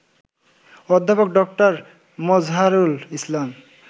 অধ্যাপক ড. মযহারুল ইসলাম